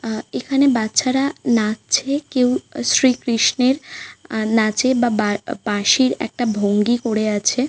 আহ এখানে বাচ্চারা নাচ্ছে কেউ শ্রী কৃষ্ণের আহ নাচে বা বাব় বাঁশির একটা ভঙ্গি করে আছে ।